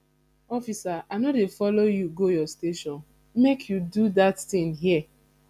officer i no dey follow you go your station make you do dat thing here